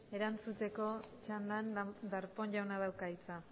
erantzuteko txandan darpón jauna dauka hitza